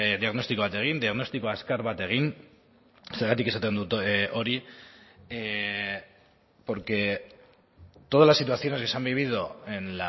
diagnostiko bat egin diagnostiko azkar bat egin zergatik esaten dut hori porque todas las situaciones que se han vivido en